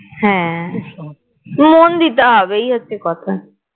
হ্যাঁ মন দিতে হবে এই হচ্ছে কথা